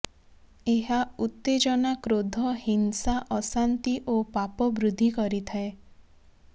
ଏହା ଉତ୍ତେଜନା କ୍ରୋଧ ହିଂସା ଅଶାନ୍ତି ଓ ପାପ ବୃଦ୍ଧି କରି ଥାଏ